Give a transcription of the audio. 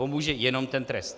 Pomůže jenom ten trest.